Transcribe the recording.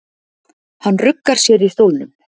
Hann ruggar sér í stólnum.